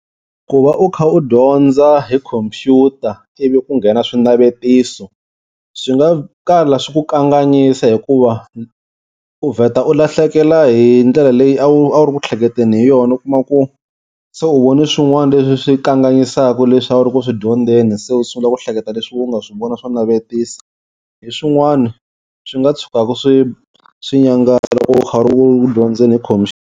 Ku va u kha u dyondza hi khompyuta ivi ku nghena swinavetiso swi nga kala swi ku kanganyisa hikuva u vheta u lahlekela hi ndlela leyi a wu a wu ri ku hleketeni hi yona u kuma ku se u vone swin'wana leswi swi kanganyisaka leswi a wu ri ku swi dyondeni so u sungula ku hleketa leswi we u nga swi vona swa navetisa hi swin'wana swi nga tshukaku swi swi loko u kha u ri ku dyondzeni hi .